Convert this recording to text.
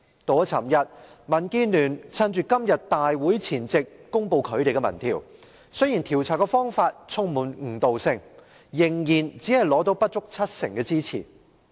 昨天，民建聯趁着今次大會前夕公布其"一地兩檢"民意調查，雖然調查方法充滿誤導性，但只有不足七成回應者表示支持。